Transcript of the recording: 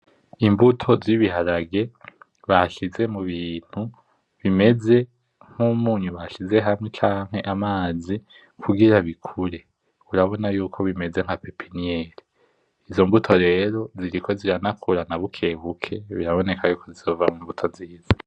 Imbuto zibiharage bashize mubintu bimeze nkumunyu bashize hamwe canke amazi kugira bikure urabona yuko bimeze nka pepiniyere izo mbuto rero ziriko ziranakura na bukebuke biraboneka ko zizovamwo imbuto nziza.